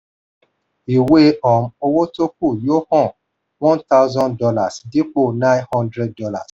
ìwé um owó tó kù yóò hàn one thousand dollars dípò nine hundred dollars